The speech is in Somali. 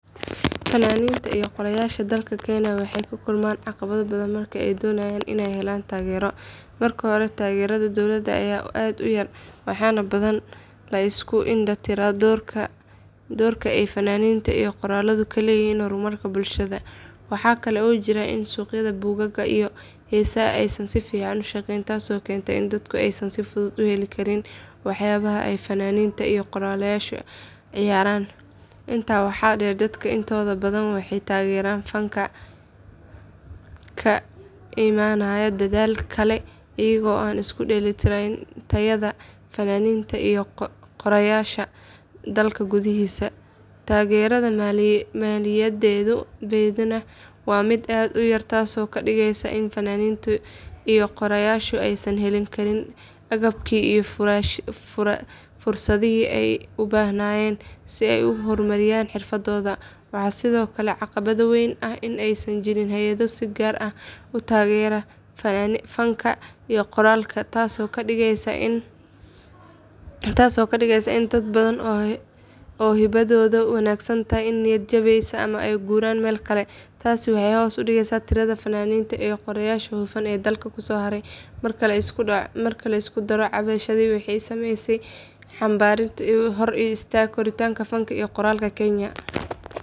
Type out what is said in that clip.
Fanaaninta iyo qoraayaasha dalka kenya waxay la kulmaan caqabado badan marka ay doonayaan inay helaan taageero. Marka hore taageerada dowladda ayaa aad u yar waxaana badanaa la iska indhatiraa doorka ay fanka iyo qoraaladu ku leeyihiin horumarka bulshada. Waxaa kale oo jirta in suuqyada buugaagta iyo heesaha aysan si fiican u shaqeyn taasoo keenta in dadku aysan si fudud u heli karin waxyaabaha ay fanaaniinta iyo qoraayaashu curiyaan. Intaa waxaa dheer dadka intooda badan waxay taageeraan fanka ka imanaya dalal kale iyaga oo iska indhatiraya tayada fanaaniinta iyo qoraayaasha dalka gudihiisa. Taageerada maaliyadeedna waa mid aad u yar taasoo ka dhigaysa in fanaaniinta iyo qoraayaashu aysan heli karin agabkii iyo fursadihii ay u baahnaayeen si ay u horumariyaan xirfadooda. Waxaa sidoo kale caqabad weyn ah in aysan jirin hay’ado si gaar ah u taageera fanka iyo qoraalka, taasoo ka dhigaysa in dad badan oo hibadoodu wanaagsan tahay ay niyad jabiyaan ama ay u guuraan meel kale. Taasi waxay hoos u dhigtaa tirada fanaaniinta iyo qoraayaasha hufan ee dalka kusoo haray. Marka la isku daro caqabadahaasi waxay sameeyaan xannib weyn oo hor istaaga koritaanka fanka iyo qoraalka kenya.